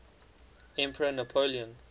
emperor napoleon